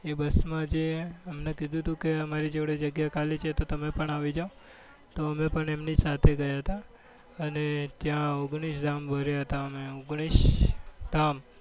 એ બસમાં જે અમને કીધું હતું કે અમારી જોડે જગ્યા ખાલી છે. તમે પણ આવી જાઓ. તો અમે પણ એમની સાથે ગયા હતા અને ત્યાં ઓગણીશ ધામ ફર્યા હતા. અમે ઓગણીશ ધામ